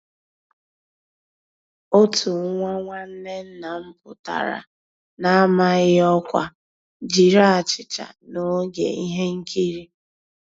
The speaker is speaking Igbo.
Ótú nwá nnwànné nná m pụ́tárá n'àmàghị́ ọ́kwá jiri àchíchà n'ògé íhé nkírí.